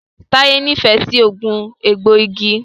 Taye n'ifẹ sí oogun egboigi.